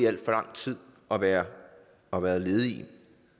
alt for lang tid og været og været ledige